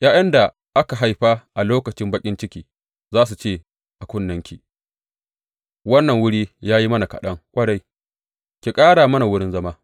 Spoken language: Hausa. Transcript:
’Ya’yan da aka haifa a lokacin baƙin cikinki za su ce a kunnenki, Wannan wuri ya yi mana kaɗan ƙwarai; ki ƙara mana wurin zama.’